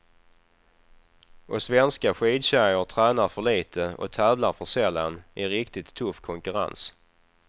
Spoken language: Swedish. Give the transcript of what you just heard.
Och svenska skidtjejer tränar för litet och tävlar för sällan i riktigt tuff konkurrens.